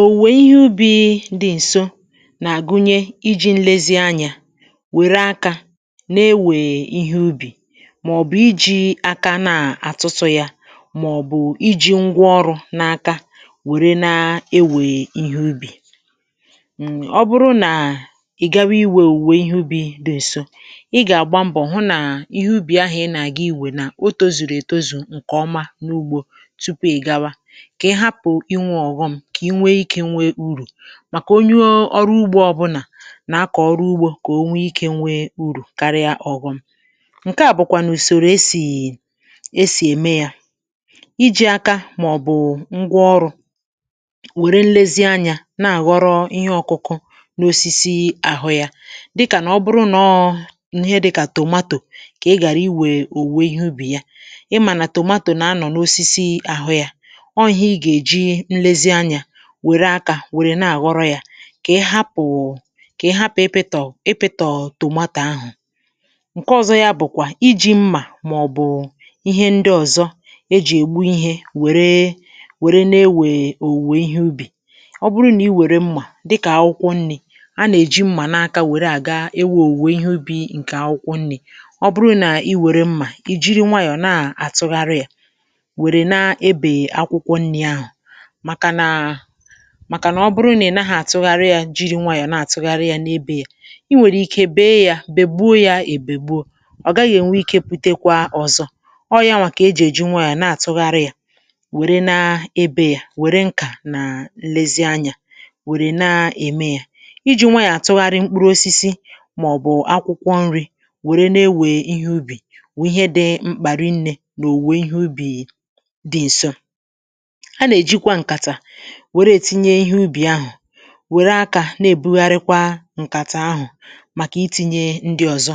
Owùwè ihe ubi̇ dị̀ ǹso nà-àgụnye iji̇ nlezianyà wère akȧ na-ewe ihe ubi, mà ọ̀ bụ̀ iji̇ aka na-àtụtụ̇ ya mà ọ̀ bụ̀ iji̇ ngwa ọrụ̇ n’aka wère na-ewè ihe ubi̇[um]. Ọ bụrụ nà ị gawa iwè òwùwè ihe ubi̇ dị̀ ǹso ị gà-àgba mbọ̀ hụ nà ihe ubì ahụ̀ ị nà-àga iwè nà ọ tozùrù ètozù ǹkè ọma n’ugbȯ tupụ ị́ gáwà, kà ị hápu ị́nwé ọghọm, kà i nwee ikė nwee urù; màkà onye ọrụ ugbȯ ọbụlà na-akọ̀ ọrụ ugbȯ kà o nwee ikė nwee urù karịa ọghọm. Nke à bụ̀kwà nụ ùsòrò esì esì ème yȧ ijì aka màọ̀bụ̀ ngwaọrụ̇, wère nlezi anyȧ na-àghọrọ ihe ọ̇kụ̇kụ̇ n’osisi àhụ yȧ; dịkà nà ọ bụrụ nọọ n'ihe dịkà tomato kà ị ghàra iwè owụwè ihe ubì yà. Ị mà nà tomato nà anọ̀ n’osisi àhụ yȧ, ọ ihe ị ga-ejị nlezị ányà wère akȧ wère na-àghọrọ yȧ; kà ị hapụ̀ kà ị hapụ̀ ịpịtọ̀ ịpịtọ̀tọ̀ tómatà ahụ̀. Nke ọzọ yȧ bụ̀kwà iji̇ mmà màọ̀bụ̀ ihe ndị ọ̀zọ e jì ègbu ihe wère wère na-ewe òwùwè ihe ubì, ọ bụrụ nà i wère mmà dịkà akwụkwọ nni̇ a nà-èji mmà n’aka wère àga ewe òwùwè ihe ubì ǹkè akwụkwọ nni̇, ọ bụrụ nà i wère mmà ìjiri nwayọ̀ na-àtụgharị yà wèré nà ẹ́bè akwụkwọ nnị àhụ. Màkà nà màkà nà ọ bụrụ nà ị naghị̇ àtụgharị yȧ jiri nwayọ̀ na-àtụgharị yȧ n’ebe yà, i nwèrè ike bee yȧ bègbuo yȧ èbègbuo ọ̀ gaghị̇ ènwe ikė pụtekwa ọ̀zọ. Ọ yȧ nwà kà ejì èji nwayọ̀ na- àtụgharị yȧ, wère na-ebe ya wère nkà nà nlezianyȧ wère na-ème yà. Ịji̇ nwayọ̀ àtụgharị mkpụrụ osisi mà ọ̀ bụ̀ akwụkwọ nri̇ wère na-ewe ihe ubì wụ ihe dị mkpà ri nnė nà òwùwè ihe ubì dị ǹsọ. A na- ejịkwà nkàtá were ètinye ihe ubì ahụ̀, wère akȧ na-èbugharịkwa ǹkàtà ahụ̀ màkà iti̇nyė ndị ọ̀zọ;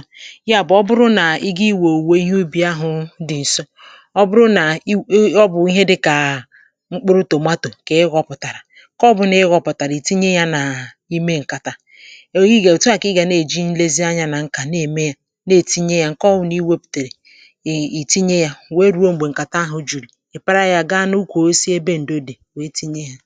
ya bụ̀ ọ bụrụ nà i ga iwè òwùwè ihe ubì ahụ̇ dị̇ ǹso ọ bụrụ nà i e ọ bụ̀ ihe dịkà mkpụrụ tomato kà ị ghọpụ̀tàrà, nké ọbụ̀ na ị ghọpụ̀tàrà ì tinye ya n’ime ǹkàtà. Ọ ị gà ò tụọ kà ị gà na-èji nlezi anyȧ nà ǹkà na-ème ya na-ètinye yà, ǹke ọwụ̇ nà iwėpùtèrè ì tinye ya wee ruo m̀gbè ǹkàtà ahụ̀ jùrù, ì para yȧ gaa n’ụkwú osịsị ébè ndó dí wéé tinyé yà.